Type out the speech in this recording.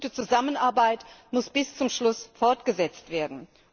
Die gute Zusammenarbeit muss bis zum Schluss fortgesetzt werden.